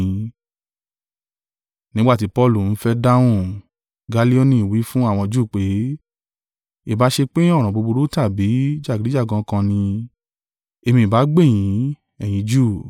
Nígbà tí Paulu ń fẹ́ dáhùn, Gallioni wí fún àwọn Júù pé, “Ìbá ṣe pé ọ̀ràn búburú tàbí tí jàgídíjàgan kan ni, èmi ìbá gbè yín, ẹ̀yin Júù,